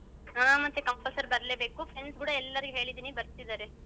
ಹಾ ಮತ್ತೆ compulsory ಬರ್ಲೇಬೇಕು friends ಕೂಡ ಎಲ್ಲರಿಗು ಹೇಳಿದ್ದೀನಿ ಬರ್ತಿದ್ದಾರೆ.